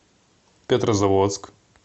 петрозаводск